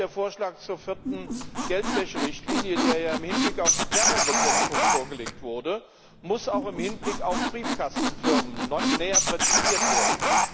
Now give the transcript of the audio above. Auch der Vorschlag zur vierten Geldwäscherichtlinie, der ja im Hinblick auf die Terrorbekämpfung vorgelegt wurde, muss auch im Hinblick auf Briefkastenfirmen näher präzisiert werden.